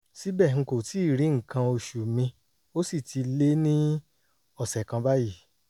síbẹ̀ n kò tíì rí nǹkan oṣù mi ó sì ti lé ní ọ̀sẹ̀ kan báyìí